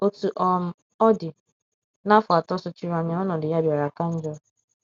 Otú um ọ dị, n’afọ atọ sochiri anya ọnọdụ ya bịara ka njọ.